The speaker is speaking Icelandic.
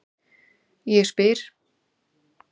Ég spyr